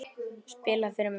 Spila fyrir mig?